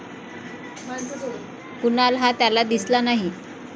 कुणाल हा त्याला दिसला नाही.